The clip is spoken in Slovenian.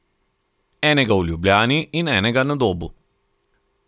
Enega v Ljubljani in enega na Dobu!